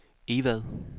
Egvad